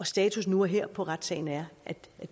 status nu og her på retssagen er at